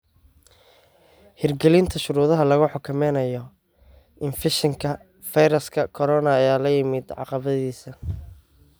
Hirgelinta shuruudaha lagu xakameynayo infekshanka fayraska corona ayaa la yimid caqabadihiisii.